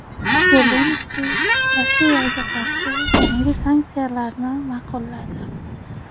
Zelenskiy Rossiyaga qarshi yangi sanksiyalarni ma’qulladi.